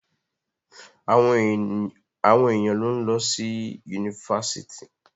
Àwọn èèyàn ló ń lọ sí Yunifásitì.